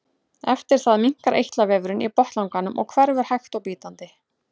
Eftir það minnkar eitlavefurinn í botnlanganum og hverfur hægt og bítandi.